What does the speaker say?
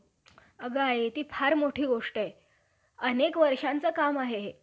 त्याच प्रमाणे, त्यास आठ~ आठ स्तने, चार बेंब्या चार मूत्रद्वारे आणि चार मल्लद्वारे असली पाहिजेत.